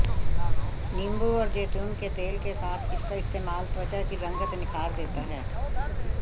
नींबू और जैतून के तेल के साथ इसका इस्तेमाल त्वचा की रंगत निखार देता है